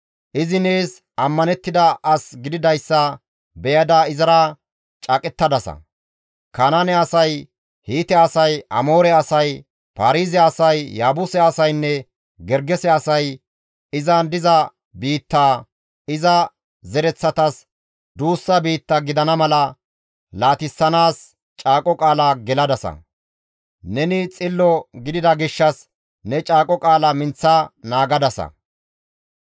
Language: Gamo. Izi nees ammanettida as gididayssa beyada izara caaqettadasa; Kanaane asay, Hiite asay, Amoore asay, Paarize asay, Yaabuse asaynne Gergese asay izan diza biitta, iza zereththatas duussa biitta gidana mala laatissanaas caaqo qaala geladasa; neni xillo gidida gishshas ne caaqo qaala minththa naagadasa.